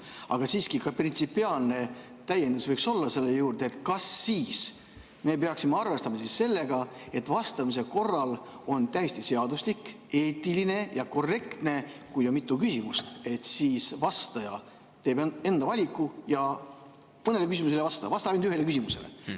Aga siiski võiks olla ka printsipiaalne täiendus selle juurde: kas me siis peaksime arvestama sellega, et on täiesti seaduslik, eetiline ja korrektne, et kui on mitu küsimust, siis vastaja teeb enda valiku ja mõnele küsimusele ei vasta, vastab ainult ühele küsimusele?